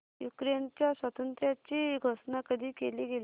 युक्रेनच्या स्वातंत्र्याची घोषणा कधी केली गेली